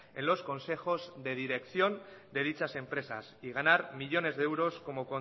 en los consejos de dirección de dichas empresas y ganar millónes de euros como